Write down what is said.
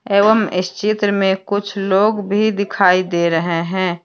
एवं इस चित्र में कुछ लोग भी दिखाई दे रहे हैं।